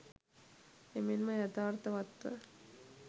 එමෙන්ම යථාර්ථවත්ව